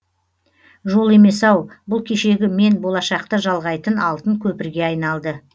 жол емес ау бұл кешегі мен болашақты жалғайтын алтын көпірге айналды